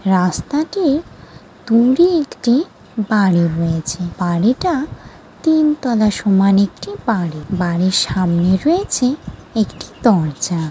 রাস্তাটির দূরে একটি বাড়ি রয়েছে। বাড়িটা তিন তলা সমান একটি বাড়ি। বাড়ির সামনে রয়েছে একটি দরজা ।